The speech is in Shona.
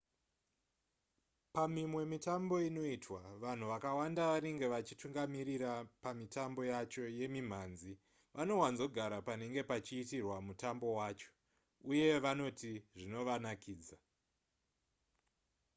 pamimwe mitambo inoitwa vanhu vakawanda vanenge vachitungamirira pamitambo yacho yemimhanzi vanowanzogara panenge pachiitirwa mutambo wacho uye vanoti zvinovanakidza